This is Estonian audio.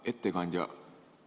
Hea ettekandja!